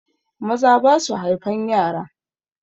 Maza basu haifan yara.